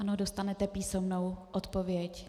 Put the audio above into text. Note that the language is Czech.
Ano, dostanete písemnou odpověď.